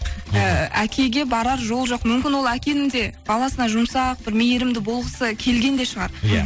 ііі әкеге барар жол жоқ мүмкін ол әкенің де баласына жұмсақ бір мейірімді болғысы келген де шығар иә